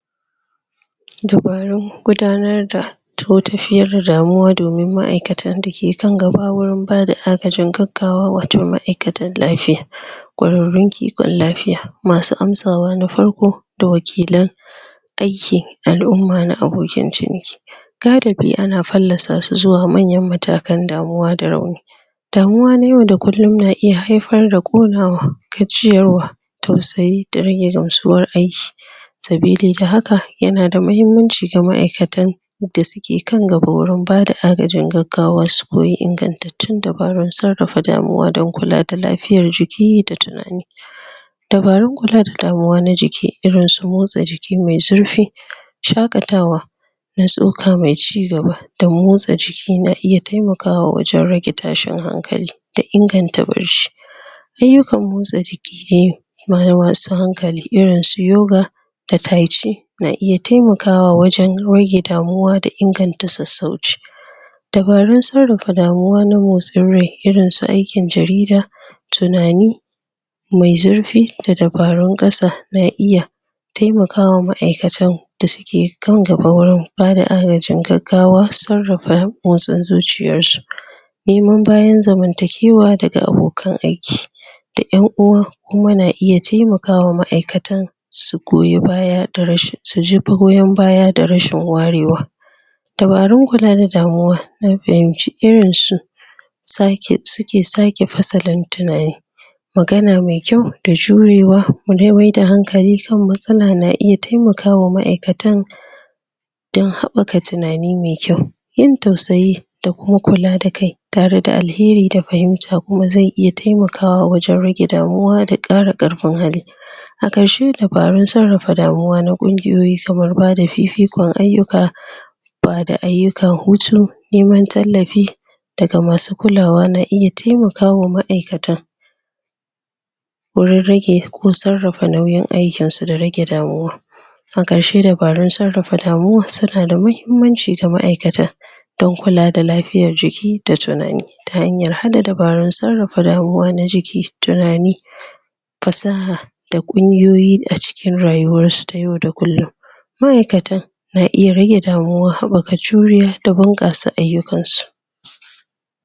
Dubarun gudanar da toh tafiyar da damuwa domin maaikatan da ke kan gaba wurin ba da gagawa wato maaikatan lafiya kwararun kikon lafiya masu amsawa na farko da wakilan aiki alumma na abokin ciniki gadabi a na palasa su zuwa manya matakai damuwa da rauni. Damuwa na yau da kullum na iya haifar da konawa gajiyar wa, tausayi da rage da gamsuwar aiki sabili da haka, ya na da mahimmanci da maaikatan da su ke kan gaba wurin bada agajin gaggawa su koyi ingantattur dabarun tsarafa damuwa dan kulla da lafiyar jiki da tunani dabarun kulla da damuwa na jiki, irin su motsa jiki mai zurfi shakatawa na tsoka mai cigaba, da motsa jiki na iya taimakawa wajen rage tashin hankali, da inganta Ayukan motsa jiki dai ma da masu hankali irin su yoga da taici na iya taimakawa wajen rage damuwa, da inganta sasauci. Dabarun tsarafa damuwa na motsin rai irin su aikin jarida, tunani mai zurfi da dabarun kasa na iya taimakawa maaikatan da su ke kan gaba wurin ba da agajin gaggawa, tsarafa motsin zuciyar su niman bayan zamantakiwa da ga abokan aiki, da ƴanuwa kuma na iya taimakawa maaikatan su goyi baya da rashin su jefaro ƴan baya da rashin warewa dabarun kulla da damuwa, na fahimci irin su tsake, su ke tsake fasalan tunanin magana mai kyau da jurewa mu dai mai da hankali kan matsala na iya taimakawa maaikatan dan haɓaka tunani mai tyau, yin tausayi da kuma kulla da kai, tare da alheri da fahimta kuma zai iya taimakawa wajen rage damuwa da kara karfin hali. A karshe, dabarun tsarafa damuwa na kungiyoyi saboda ba da fifikon ayuka ba da ayukan hutu, niman tallafi da ga masu kullawa na iya taimakawa maaikata wurin rage ko tsarafa nauyin aikin su da rage damuwa A karshe dabarun tsarafa damuwar su na da mahimmnci da maaikata dan kulla da lafiyar jiki da tunani ta hanyar hada dabarun tsarafa damuwa na jiki, tunani fasaha da kunguyoyi da cikin rayuwar su ta yau da kullum maaikata, na iya rage damuwa, haɓaka juriya da bangassa ayukan su.